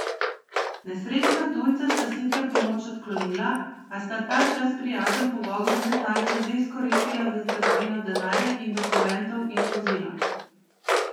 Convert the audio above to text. Nesrečna tujca sta sicer pomoč odklonila, a sta ta čas prijazen pogovor neznanca že izkoristila za tatvino denarja in dokumentov iz vozila.